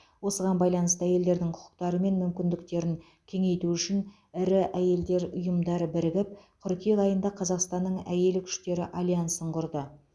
осыған байланысты әйелдердің құқықтары мен мүмкіндіктерін кеңейту үшін ірі әйелдер ұйымдары бірігіп қыркүйек айында қазақстанның әйелі күштері альянсын құрды